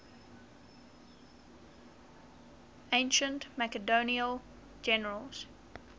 ancient macedonian generals